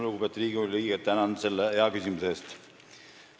Lugupeetud Riigikogu liige, tänan selle hea küsimuse eest!